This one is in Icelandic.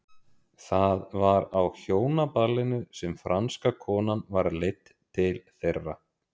Það var á hjónaballinu sem franska konan var leidd til þeirra.